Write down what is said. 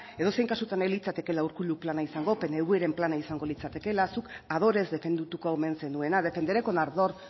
edozein kasutan ez litzatekeela urkullu plana izango pnvren plana izango litzatekeela zuk ardorez defendatuko omen zenuena defenderé con ardor